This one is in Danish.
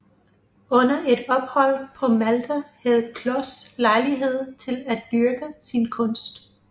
Under et ophold på Malta havde Kloss lejlighed til at dyrke sin kunst